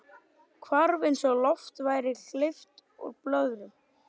Hvarf eins og lofti væri hleypt úr blöðru.